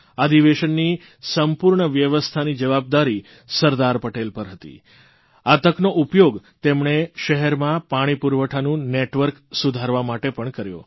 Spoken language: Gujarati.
અધિવેશનની સંપૂર્ણ વ્યવસ્થાની જવાબદારી સરદાર પટેલ પર હતી આ તકનો ઉપયોગ તેમણે શહેરમાં પાણી પુરવઠાનું નેટવર્ક સુધારવા માટે પણ કર્યો